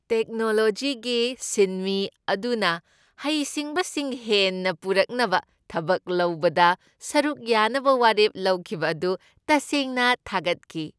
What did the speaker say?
ꯇꯦꯛꯅꯣꯂꯣꯖꯤꯒꯤ ꯁꯤꯟꯃꯤ ꯑꯗꯨꯅ ꯍꯩꯁꯤꯡꯕꯁꯤꯡ ꯍꯦꯟꯅ ꯄꯨꯔꯛꯅꯕ ꯊꯕꯛ ꯂꯧꯕꯗ ꯁꯔꯨꯛ ꯌꯥꯅꯕ ꯋꯥꯔꯦꯞ ꯂꯧꯈꯤꯕ ꯑꯗꯨ ꯇꯁꯦꯡꯅ ꯊꯥꯒꯠꯈꯤ ꯫